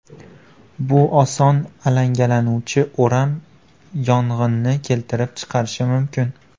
Bu oson alangalanuvchi o‘ram yong‘inni keltirib chiqarishi mumkin.